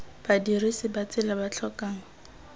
badirisi ba tsela ba tlhokang